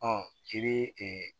Ɔ i bɛ